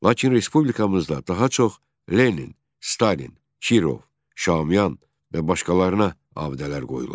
Lakin respublikamızda daha çox Lenin, Stalin, Kirov, Şamiyan və başqalarına abidələr qoyulur.